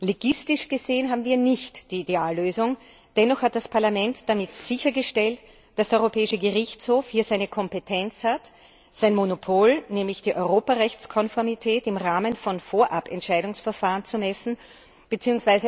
Legistisch gesehen haben wir nicht die Ideallösung, dennoch hat das Parlament damit sichergestellt, dass der Europäische Gerichtshof hier seine Kompetenz hat, sein Monopol, nämlich die Europarechtskonformität im Rahmen von Vorabentscheidungsverfahren zu messen bzw.